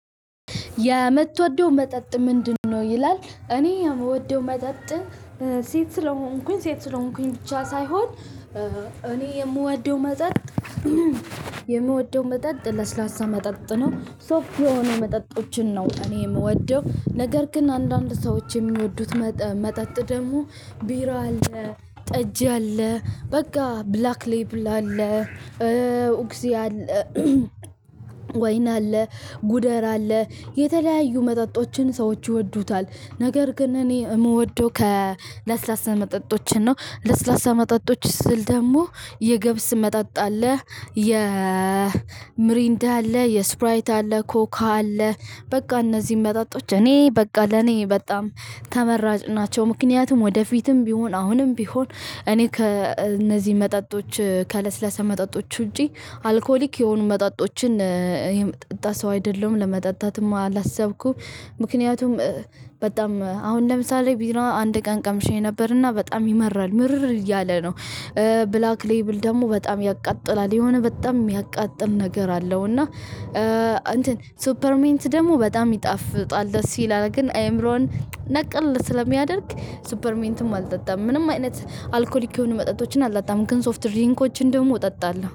የምትወደው መጠጥ ምንድነው? ይላል እኔ የምወደው መጠጥ ሴት ስለሆንኩኝ ሴት ስለሆንኩኝ ብቻ ሳይሆን እኔ የምወደው መጠጥ የምወደው መጠጥ ለስላሳ መጠጥ ነው። ሶፍት የሆኑ መጠጦችን ነው እኔ የምወደው። ነገር ግን አንዳንድ ሰዎች የሚወዱት መጠጥ ደግሞ ቢራ አለ ጠጅ አለ በቃ ብላክ ሌብል አለ። ወይን አለ ጉደር አለ የተለያዩ መጠጦችን ሰዎች ይወዱታል። ነገር ግን እኔ የምወደው ከ ለስላሳ መጠጦችን ነው። ለስላሳ መጠጦች ስል ደግሞ የገብስ መጠጥ አለ የምሪንዳ አለ የስፕራይት አለ ኮካ አለ በቃ እነዚህን መጣጦች እኔ በቃ ለኔ በጣም ተመራጭ ናቸው። ምክንያቱም ወደፊትም ቢሆን አሁንም ቢሆን እኔ ከእነዚህ መጠጦች ከለስለሳ መጠጦች ውጪ አልኮሊክ የሆኑ መጠጦችን የምጠጣ ሰው አይደለሁም ለመጠጣትም አላሰብኩም። ምክንያቱም በጣም አሁን ለምሳሌ ቢራ አንድ ቀን ቀምሼ ነበርና በጣም ይመራል ምርር ያለ ነው። ብላክ ሌብል ደግሞ በጣም ያቃጥላል የሆነ በጣም የሚያቃጥል ነገር አለው። እና እንትን ሱፐር ሜንት ደግሞ በጣም ይጣፍጣል ደስ ይላል ግን አይምሮን ነቅል ስለሚያደርግ ሱፐር ሜንትም አልጠጣም። ምንም አይነት አልኮሊክ የሆኑ መጠጦችን አላጣም ግን ሶፍት ድሪንኮችን ደግሞ እጠጣለሁ